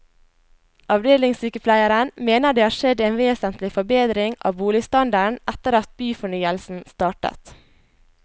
Avdelingssykepleieren mener det har skjedd en vesentlig forbedring av boligstandarden etter at byfornyelsen startet.